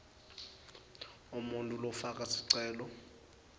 umuntfu lofaka sicelo